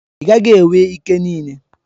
Ị gaghị enwe ike niile.